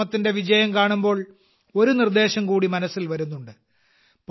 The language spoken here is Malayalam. ഈ ശ്രമത്തിന്റെ വിജയം കാണുമ്പോൾ ഒരു നിർദ്ദേശം കൂടി മനസ്സിൽ വരുന്നുണ്ട്